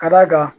Ka d'a kan